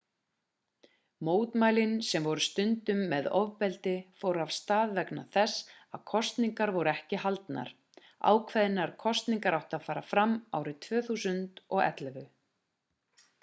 mótmælin sem voru stundum með ofbeldi fóru af stað vegna þess að kosningar voru ekki haldnar ákveðnar kosningar áttu að fara fram árið 2011